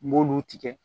N b'olu tigɛ